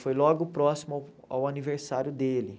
Foi logo próximo ao ao aniversário dele.